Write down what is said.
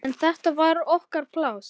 En þetta var okkar pláss.